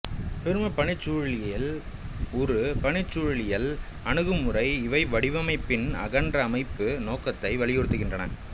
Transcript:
பெரும பணிச்சூழலியல் ஒரு பணிச்சூழலியல் அணுகுமுறை இவை வடிவமைப்பின் அகன்ற அமைப்பு நோக்கத்தை வலியுறுத்துகின்றன